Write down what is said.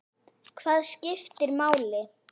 Hvað skiptir máli?